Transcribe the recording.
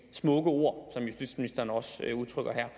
smukke ord som justitsministeren også udtrykker her